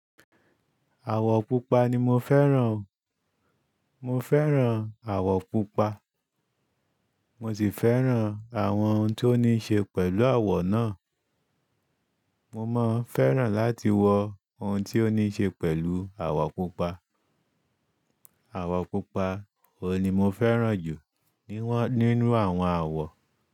Àwọ̀ pupa ni mọ fẹ́ràn o. Mọ fẹ́ràn àwọ̀ pupa, mọ sì fẹ́ràn àwọn ohun tó ní ṣe pẹ̀lú àwọ̀ náà. Mọ mọ́ fẹ́ràn láti wọ ohùn tí ó ní ṣe pẹ̀lú àwọ̀ pupa. Àwọ̀ pupa òun ní mọ fẹ́ràn jù nínú àwọn àwọ̀